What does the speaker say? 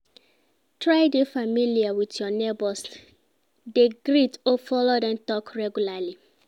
Try de familiar with your neighbors, de greet or follow dem talk regularly